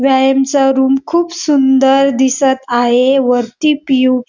व्यायाम चा रुम खुप सुंदर दिसत आहे. वरती पी.ओ. --